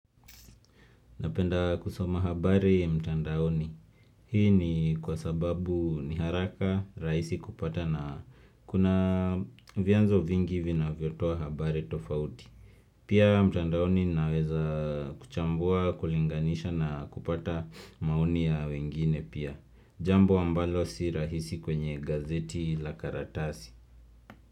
Napenda kusoma habari mtandaoni. Hii ni kwa sababu ni haraka, rahisi kupata na kuna vyanzo vingi vi na vyotoa habari tofauti. Pia mtandaoni naweza kuchambua, kulinganisha na kupata maoni ya wengine pia. Jambo ambalo si rahisi kwenye gazeti la karatasi.